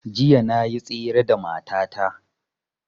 Jiya na yi tsere da mata ta